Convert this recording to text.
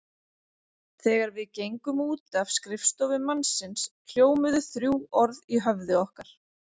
Þegar við gengum út af skrifstofu mannsins hljómuðu þrjú orð í höfði okkar.